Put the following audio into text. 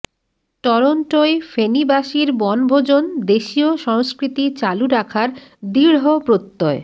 টরন্টোয় ফেনীবাসীর বনভোজন দেশীয় সংস্কৃতি চালু রাখার দৃঢ় প্রত্যয়